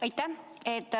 Aitäh!